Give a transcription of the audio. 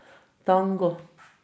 Tango.